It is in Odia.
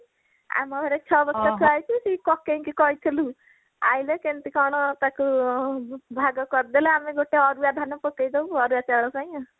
ଆମ ଘରେ ଛଅ ବସ୍ତା ଥୁଆ ହେଇଛି ସେ କକେଇଙ୍କୁ କହିଥିଲୁ ଆଣିଲେ କେମିତି କଣ ତାକୁ ଆଁ ଭାଗ କରିଦେଲେ ଆମେ ଗୋଟେ ଅରୁଆ ଧାନ ପକେଇଦବୁ ଅରୁଆ ଚାଉଳ ପାଇଁ ଆଉ